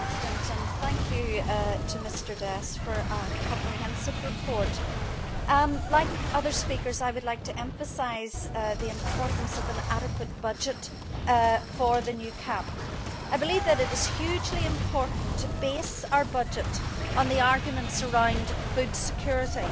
Mr President, I would like to thank Mr Dess for a comprehensive report. Like other speakers, I would like to emphasise the importance of an adequate budget for the new CAP. I believe that it is hugely important to base our budget on the arguments around food security.